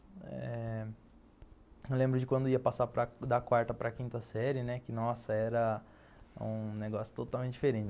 Eh... Eu lembro de quando eu ia passar da quarta para a quinta série, né, que nossa, era um negócio totalmente diferente.